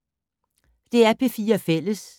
DR P4 Fælles